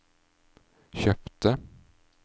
kjøpte